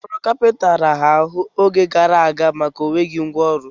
Ọrụ kapịnta raara ahụ oge gara aga maka enweghị ngwa ọrụ.